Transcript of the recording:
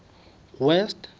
west